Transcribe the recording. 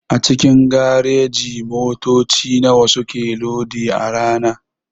A cikin gareji motoci nawa suke lodi a rana?